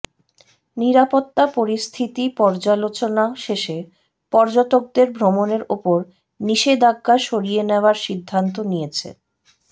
নিরাপত্তা পরিস্থিতি পর্যালোচনা শেষে পর্যটকদের ভ্রমণের ওপর নিষেধাজ্ঞা সরিয়ে নেওয়ার সিদ্ধান্ত নিয়েছে